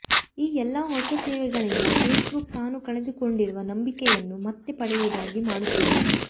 ಈ ಎಲ್ಲಾ ಹೊಸ ಸೇವೆಗಳಿಂದ ಫೇಸ್ ಬುಕ್ ತಾನು ಕಳೆದುಕೊಂಡಿರುವ ನಂಬಿಕೆಯನ್ನು ಮತ್ತೆ ಪಡೆಯುವುದಾಗಿ ಮಾಡುತ್ತಿದೆ